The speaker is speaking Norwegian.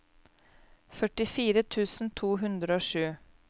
førtifire tusen to hundre og sju